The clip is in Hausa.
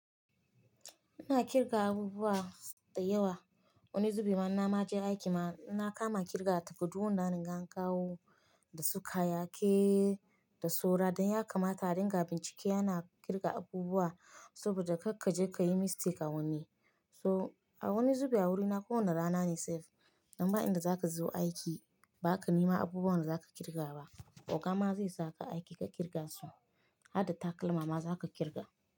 Ina kirga abubuwa da yawa. Wani zube mana ma je aiki ma, na kama kirga takardu wannan na gan kawo da suka yake da sora. Dan ya kamata in ga bincike yana kirga abubuwa saboda karka je ka yi mistake a wani. So a wani zube a wuri na ko wanda rana ne safe. Dan ba inda za ka zo aiki ba ka nima abubuwan za ka kirga ba. Oga ma zai sa ka aiki ka kirga su. Hada takalman ma za ka kirga.